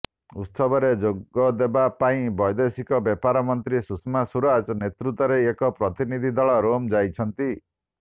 ଉତ୍ସବରେ ଯୋଗଦେବା ପାଇଁ ବୈଦେଶିକ ବ୍ୟାପାର ମନ୍ତ୍ରୀ ସୁଷମା ସୁରାଜଙ୍କ ନେତୃତ୍ୱରେ ଏକ ପ୍ରତିନିଧି ଦଳ ରୋମ୍ ଯାଇଛନ୍ତି